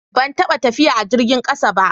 Ban taɓa tafiya a jirgin ƙasa ba.